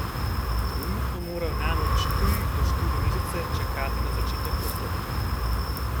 Trenutno morajo namreč tri do štiri mesece čakati na začetek postopka.